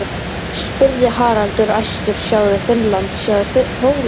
spurði Haraldur æstur, sjáðu Finnland, sjáðu Pólland.